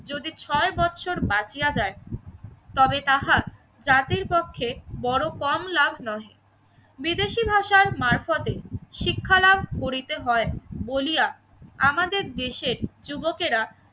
যদি ছয় বছর বাকি আদায় তবে তাহার জাতির পক্ষে বড় কম লাভ নহে। বিদেশি ভাষার মারফতে শিক্ষালাভ করিতে হয় বলিয়া আমাদের দেশের যুবকেরা